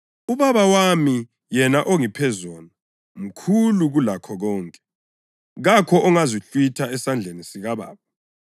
UBaba wami yena ongiphe zona mkhulu kulakho konke, kakho ongazihlwitha esandleni sikaBaba